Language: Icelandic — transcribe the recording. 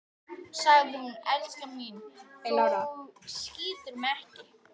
Hún segir: Elskan mín, þú skýtur mig ekki